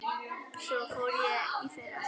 Svo fór ég í fyrra.